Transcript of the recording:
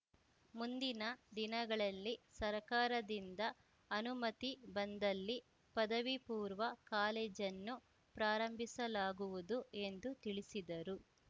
ಮುಂದಿನ ದಿನಗಳಲ್ಲಿ ಸರ್ಕಾರದಿಂದ ಅನುಮತಿ ಬಂದಲ್ಲಿ ಪದವಿಪೂರ್ವ ಕಾಲೇಜನ್ನು ಪ್ರಾರಂಭಿಸಲಾಗುವುದು ಎಂದು ತಿಳಿಸಿದರು